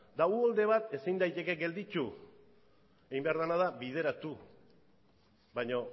eta uholde bat ezin daiteke gelditu egin behar dena da bideratu baina